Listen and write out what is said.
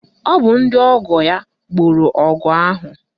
Ọ bụ ndị ọgọ ya gboro ọgụ ahụ